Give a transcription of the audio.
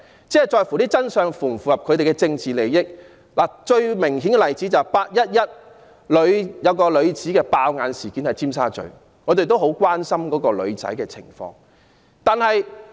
他們所謂的真相，必須符合其政治利益，最明顯的例子莫過於"八一一"中一名女子在尖沙咀"爆眼"的事件，我們亦十分關心該名傷者的情況。